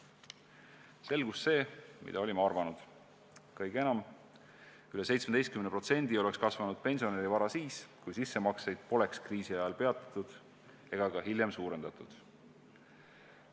Selgus see, mida olime arvanud: kõige enam, veidi üle 17% oleks kasvanud pensionäri vara siis, kui sissemakseid poleks kriisi ajal peatatud ega ka hiljem suurendatud.